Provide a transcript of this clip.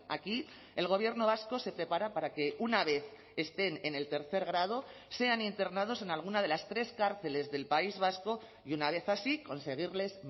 aquí el gobierno vasco se prepara para que una vez estén en el tercer grado sean internados en alguna de las tres cárceles del país vasco y una vez así conseguirles